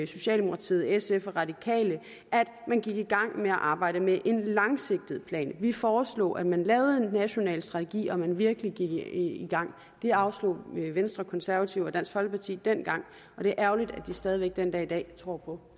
socialdemokratiet sf og radikale at man gik i gang med et arbejde med en langsigtet plan vi foreslog at man lavede en national strategi og at man virkelig gik i gang det afslog venstre konservative og dansk folkeparti dengang og det er ærgerligt at de stadig væk den dag i dag tror på